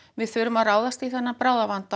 við þurfum að ráðast í þennan bráðavanda